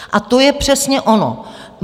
A to je přesně ono.